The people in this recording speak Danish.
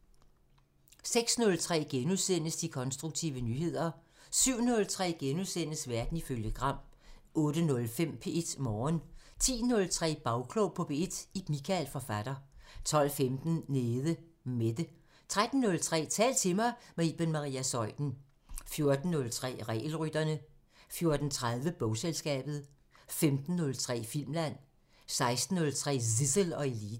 06:03: De konstruktive nyheder * 07:03: Verden ifølge Gram * 08:05: P1 Morgen 10:03: Bagklog på P1: Ib Michael, forfatter 12:15: Nede Mette 13:03: Tal til mig – med Iben Maria Zeuthen 14:03: Regelrytterne 14:30: Bogselskabet 15:03: Filmland 16:03: Zissel og Eliten